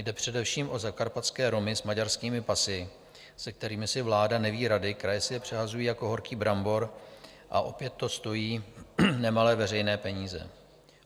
Jde především o zakarpatské Romy s maďarskými pasy, se kterými si vláda neví rady, kraje si je přehazují jako horký brambor a opět to stojí nemalé veřejné peníze.